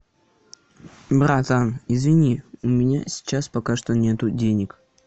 братан извини у меня сейчас пока что нет денег